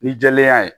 Ni jɛlenya ye